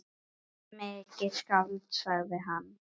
Mikið skáld, sagði hann.